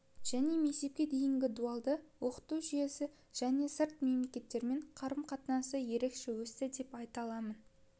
және мектепке деген дуалды оқыту жүйесі және сырт мемлекеттермен қарым-қатынасы ерекше өсті деп айта аламын